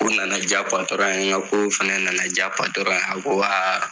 U nana diya patɔron ye, nka ko fɛnɛ nana diya patɔrɔn a ko a a.